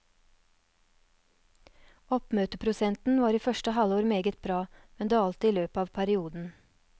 Oppmøteprosenten var i første halvår meget bra, men dalte i løpet av perioden.